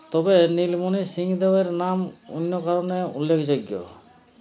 তবে নীলমনি সিং দেবের নাম অন্য কারণে উল্লেখযোগ্য